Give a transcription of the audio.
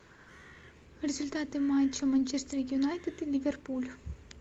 результаты матча манчестер юнайтед и ливерпуль